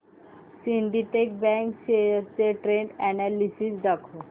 Syndicate bank shares चे trend analysis दाखव